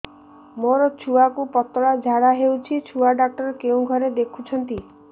ମୋର ଛୁଆକୁ ପତଳା ଝାଡ଼ା ହେଉଛି ଛୁଆ ଡକ୍ଟର କେଉଁ ଘରେ ଦେଖୁଛନ୍ତି